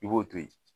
I b'o to yen